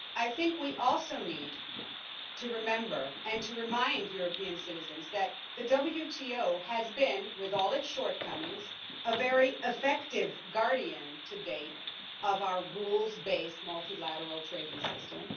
But I think we also need to remember, and to remind European citizens, that the WTO has been, with all its shortcomings, a very effective guardian to date of our rules-based multilateral trading system.